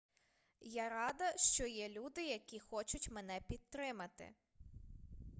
я рада що є люди які хочуть мене підтримати